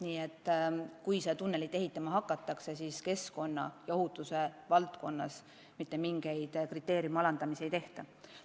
Nii et kui seda tunnelit ehitama hakatakse, siis keskkonna ja ohutuse valdkonnas mitte mingit kriteeriumide alandamist ei tule.